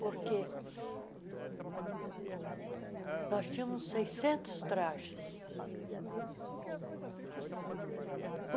Porque nós tínhamos seiscentos trajes.